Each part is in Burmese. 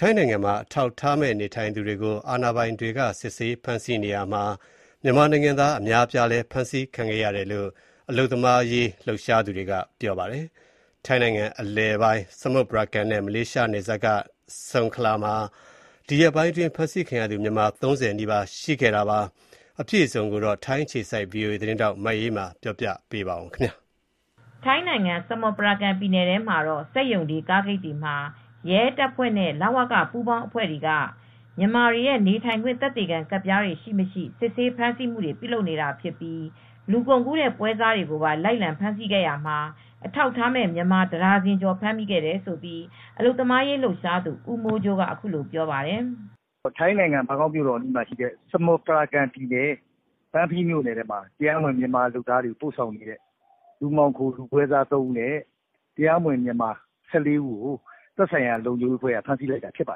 ထိုင်းနိုင်ငံမှာ အထောက်အထားမဲ့ နေထိုင်သူတွေကို အာဏာပိုင်တွေ စစ်ဆေး ဖမ်းဆီးနေရာမှာ မြန်မာနိုင်ငံသား အများအပြားလည်း ဖမ်းဆီးခံခဲ့ရတယ်လို့ အလုပ်သမားရေး လှုပ်ရှားသူတွေက ပြောပါတယ်။ ထိုင်းနိုင်ငံ အလယ်ပိုင်း ဆမွတ်ပရာကန်နဲ့ မလေးရှားနယ်စပ်က နယ်ဆုံခလာမှာ ဒီရက်ပိုင်းအတွင်း ဖမ်းဆီးခံရသူ မြန်မာ ၃၀ နီးပါး ရှိခဲ့တာပါ။ အပြည့်အစုံကိုတော့ ထိုင်းအခြေစိုက် ဗွီအိုအေသတင်းထောက် မအေးအေးမာ သတင်းပေးပို့ထားပါတယ်။ ထိုင်းနိုင်ငံ ဆမွတ်ပရာကန်ပြည်နယ်ထဲမှာတော့ စက်ရုံတွေ ကားဂိတ်တွေမှာ ရဲတပ်ဖွဲ့နဲ့ လဝက ပူးပေါင်းအဖွဲ့တွေက မြန်မာတွေရဲ့ နေထိုင်ခွင့်သက်သေခံ ကဒ်ပြားတွေရှိမရှိ စစ်ဆေးဖမ်းဆီးမှုတွေပြုလုပ်နေတာဖြစ်ပြီး လူကုန်ကူးတဲ့ပွဲစားတွေကိုပါ လိုက်လံဖမ်းဆီးရာမှာ အထောက်အထားမဲ့ မြန်မာတဒါဇင်ကျော်ကို ဖမ်းမိခဲ့တယ်လို့အလုပ်သမားရေးလှုပ်ရှားသူဦးမိုးကြိုးကအခုလိုပြောပါတယ်။ "ထိုင်းနိုင်ငံဘန်ကောက်အနီးရှိတဲ့ဆမွတ်ပရာကန်ပြည်နယ် ဘန်ဖီမြို့နယ်ထဲမှာ တရားမဝင်မြန်မာတွေကိုပို့ဆောင်နေတဲ့ လူပွဲစား လူမှောင်ခိုသမား ၃ဦးနဲ့တရားမဝင် မြန်မာအလုပ်သမား ၁၄ဦးကိုသက်ဆိုင်ရာလုံခြုံရေးတပ်ဖွဲ့တွေကဖမ်းဆီးလိုက်ပါ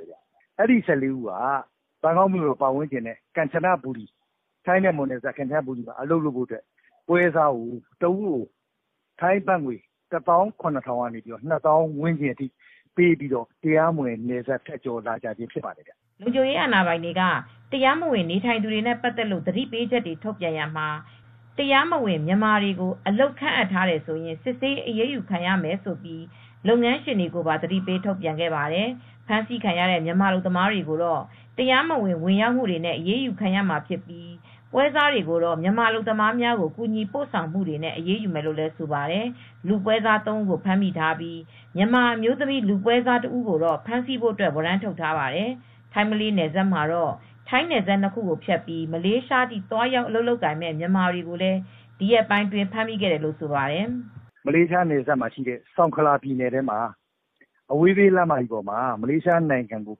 တယ်။အဲဒီ လူတွေဟာ ဘန်ကောက်နဲ့ ထိုင်းမြန်မာနယ်စပ် ကမ်ချနဘူရီမှာအလုပ်လုပ်ဖို့အတွက် ပွဲစားကို တဦးကို ထိုင်းဘတ်ငွေ ၁၇၀၀၀ ကနေ ၂၀၀၀၀ ထိပေးပြီး လာကြသူတွေဖြစ်ပါတယ်။" လုံခြုံရေးအာဏာပိုင်တွေ တရားမဝင်နေထိုင်သူတွေနဲ့ပတ်သက်လို့သတိပေးချက်တွေ ထုတ်ပြန်ရာမှာ တရားမဝင်မြန်မာတွေကို အလုပ်ခန့်ထားတယ်ဆိုရင် စစ်ဆေးအရေးယူ ခံရမယ်လို့လုပ်ငန်းရှင်တွေကိုပါသတိပေးထုတ်ပြန်ခဲ့ပါတယ် ။ဖမ်းဆီးခံရတဲ့ မြန်မာအလုပ်သမားတွေကိုတော့ တရားမဝင် ဝင်ရောက်နေထိုင်မှုတွေနဲ့ အရေးယူခံရမှာဖြစ်ပြီး ပွဲစားတွေကိုတော့ မြန်မာအလုပ်သမားတွေကို ကူညီပို့ဆောင် ပေးမှုတွေနဲ့ အရေးယူမယ်လို့လည်းဆိုပါတယ် ။ လူပွဲစား ၃ဦးကိုဖမ်းမိထားပြီး မြန်မာအမျိုးသမီးလူပွဲစားတဦးကိုတော့ဖမ်းဆီးဖို့ ဝရမ်းထုတ်ထားပါတယ်။ ထိုင်းမလေးနယ်စပ်မှာတော့ ထိုင်းနယ်စပ် ၂ခုကိုဖြတ်ပြီး မလေးရှားအထိ သွားရောက်အလုပ်လုပ်ကိုင်မဲ့မြန်မာတွေကို လည်းဒီရက်ပိုင်းအတွင်းမှာ ဖမ်းမိခဲ့တယ်လို့ဆိုပါတယ်။ "မလေးရှားနယ်စပ်ဆုံခလာပြည်နယ်ထဲမှာ အဝေးပြေးလမ်းမကြီးမှာတေ့ာမလေးရှားကို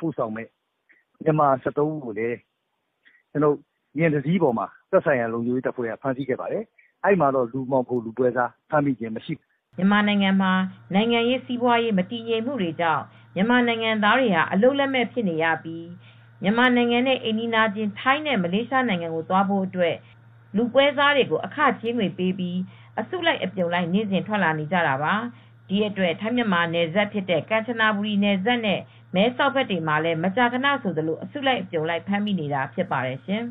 ပို့ဆောင်မဲ့ တရားမဝင်မြန်မာ ၁၃ဦးကိုဖမ်းမိပါတယ်။ အဲဒီမှာတော့ လူပွဲစားကိုဖမ်းမိခြင်းမရှိပါဘူး" မြန်မာနိုင်ငံမှာ နိုင်ငံရေးစီးပွာရေး မတည်ငြိမ်မူတွေကြောင့် မြန်မာနိုင်ငံသားတွေဟာ အလုပ်လက်မဲ့ဖြစ်နေရကြောင့် မြန်မာနိုင်ငံရဲ့အိမ်နီးချင်း ထိုင်းနဲ့မလေးရှားနိုင်ငံတွေကို သွားဖို့အတွက် လူပွဲစားတွေကိုအခကြေးငွေပေးပြီး အစုလိုက်အပြုံလိုက် နေ့စဉ်ထွက်လာနေကြတာပါ။ ဒီအတွက် ထိုင်းမြန်မာနယ်စပ်ဖြစ်တဲ့ ကမ်ချနဘူရီနယ်စပ်နဲ့ မဲဆောက်ဘက်တွေမှာမကြာခဏဆိုသလို အစုလိုက်အပြုံလိုက် ဖမ်းမိနေတာဖြစ်ပါတယ်ရှင်